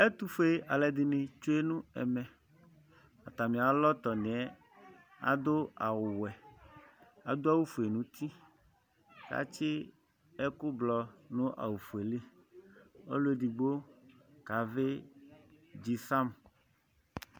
Ɛtʋfue alʋ dini tsue nʋ ɛmɛ atami alɔtɔni yɛ adʋ awʋwɛ adʋ awʋfue nʋ uti kʋ atsi ɛkʋblɔ nʋ awʋfueli ɔlʋ edigno kavi dzifam